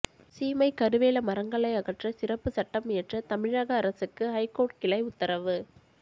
சீமைக்கருவேல மரங்களை அகற்ற சிறப்பு சட்டம் இயற்ற தமிழக அரசுக்கு ஹைகோர்ட் கிளை உத்தரவு